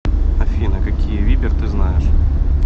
афина какие вибер ты знаешь